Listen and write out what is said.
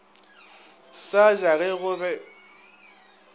sa ja ge go be